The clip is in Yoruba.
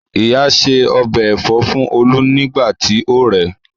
Ìyá ṣe ọbẹ̀ Ẹ̀fọ́ fún olú nígbà tí ó rẹ̀